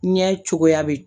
Ɲɛ cogoya bɛ